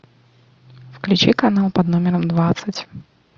включи канал под номером двадцать